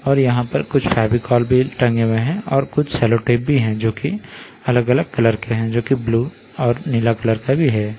और यहाँ पर कुछ फेविकोल भी टंगे हुए हैं और कुछ सेलोटेप भी हैं जो कि अलग अलग कलर के हैं जो की ब्लू और नीला कलर का भी है।